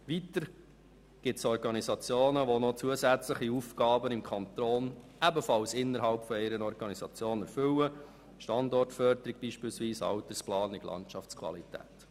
Weiter gibt es Organisationen, die zusätzliche Aufgaben im Kanton ebenfalls innerhalb einer Organisation erfüllen, wie beispielsweise die Standortförderung, die Altersplanung, die Landschaftsqualität.